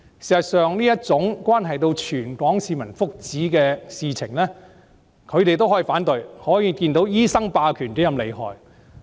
事實上，這種關係到全港市民福祉的事情，他們也能反對，可見醫生霸權是多麼厲害。